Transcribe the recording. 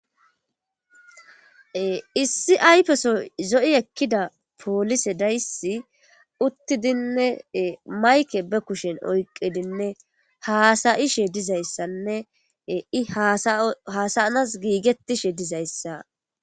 issi aypeso zo7i ekkida poolise dayssi uttidinne mayke be kushen oyqidinne haasayishe dizayssanne i hasayanas giigettishe dizayssa